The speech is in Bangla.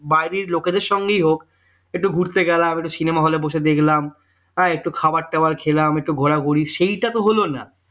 বাইরের লোকেদের সঙ্গেই হোক একটু ঘুরতে গেলাম একটু cinema hall বসে দেখলাম হ্যাঁ একটু খাবার টাবার খেলাম একটু ঘোরাঘুরি সেইটা তো হলো না